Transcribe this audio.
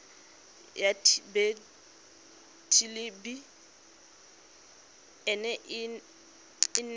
ya thelebi ene e neela